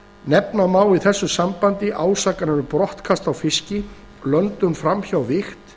nefna má í þessu sambandi ásakanir um brottkast á fiski löndun fram hjá vigt